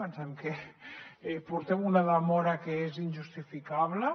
pensem que portem una demora que és injustificable